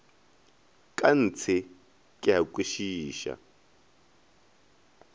ka ntshe ke a kwešiša